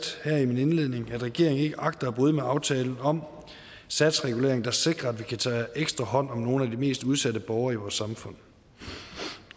her i min indledning at regeringen ikke agter at bryde med aftalen om satsregulering der sikrer at vi kan tage ekstra hånd om nogle af de mest udsatte borgere i vores samfund